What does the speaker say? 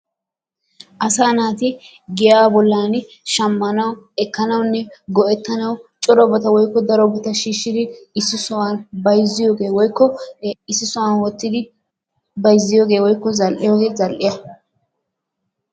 Asaa naati giyaa bollan shammanawu ekkanawunnego'ettanawu corabata woykko darobata shiishshidi issi sohuwan bayizziyagee woyikko issi sohuwan wottidi bayizziyagee woyikko zal'iyogee zal'iya.